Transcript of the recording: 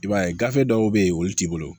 I b'a ye gafe dɔw be yen olu t'i bolo